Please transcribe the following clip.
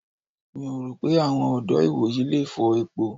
Mi ò rò pé àwọn ọ̀dọ́ ìwòyí le fọ epo.